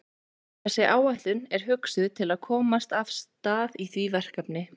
Þessi áætlun er hugsuð til að komast af stað í því verkefni.